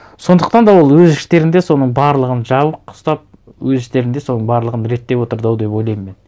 сондықтан да ол өз іштерінде соның барлығын жабық ұстап өз іштерінде соның барлығын реттеп отырды ау деп ойлаймын мен